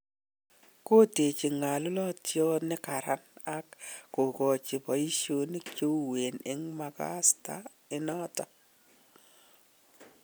kotechi ngalulotiat ne karan ak kokachi paishonik che uwen en mokasta inaton